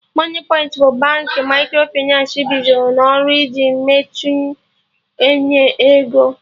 Moniepoint bụ Baankị Microfịnans bidoro n'ọrụ iji mechinu enye ego